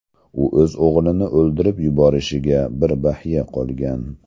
U o‘z o‘g‘lini o‘ldirib yuborishiga bir baxya qolgan.